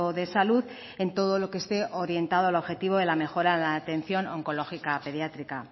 de salud en todo lo que esté orientado al objetivo de la mejora en la atención oncológica pediátrica